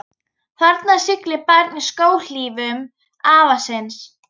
Þarna siglir barn í skóhlífum afa síns.